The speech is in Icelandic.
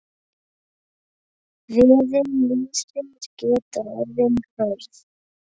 Veður lífsins geta orðið hörð.